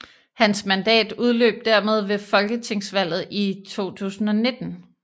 Hans mandat udløb dermed ved Folketingsvalget 2019